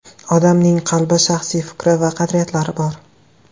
Odamning qalbi, shaxsiy fikri va qadriyatlari bor.